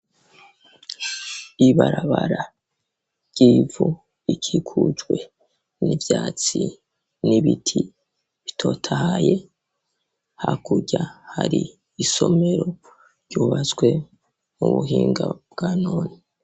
Ibarabara ryivu ikikujwe n'ivyatsi n'ibiti bitotahaye ha kurya hari isomero ryubaswe mu buhinga bwa none.